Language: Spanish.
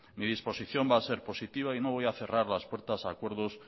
mi disposición va ha ser positiva y no voy a cerrar las puertas a acuerdos